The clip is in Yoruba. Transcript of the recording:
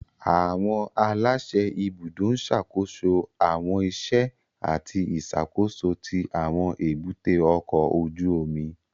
Àwọn aláṣẹ ibùdó ń ṣàkóso àwọn iṣẹ́ àti ìṣàkóso tí àwọn èbúté ọkọ̀ ojú omi